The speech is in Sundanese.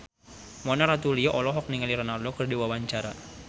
Mona Ratuliu olohok ningali Ronaldo keur diwawancara